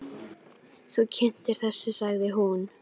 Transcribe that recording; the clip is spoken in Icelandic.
Þú kyntir undir þessu, sagði hún.